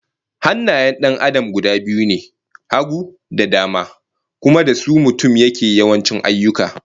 Hannayen 'yan Adam guda biyu ne, hagu da dama, kuma da su mutum yake yawanci ayyuka